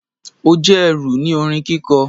O jẹ ẹru ni orin kiko